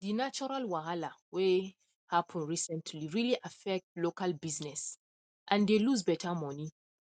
the natural wahala whey happen recently really affect local business and they loose better money